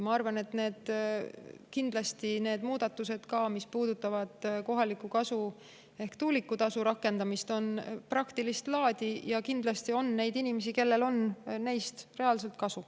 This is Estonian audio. Ma arvan, et kindlasti on need muudatused, mis puudutavad kohaliku kasu ehk tuulikutasu rakendamist, praktilist laadi, ja kindlasti on neid inimesi, kellel on neist reaalselt kasu.